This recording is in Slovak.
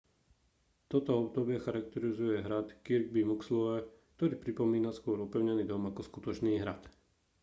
toto obdobie charakterizuje hrad kirby muxloe ktorý pripomína skôr opevnený dom ako skutočný hrad